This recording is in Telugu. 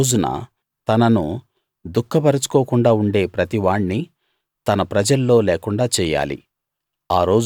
ఆ రోజున తనను దుఃఖపరుచుకోకుండా ఉండే ప్రతివాణ్ణి తన ప్రజల్లో లేకుండా చెయ్యాలి